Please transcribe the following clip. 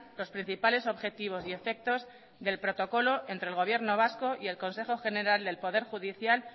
los principales objetivos y efectos del protocolo entre el gobierno vasco y el consejo general del poder judicial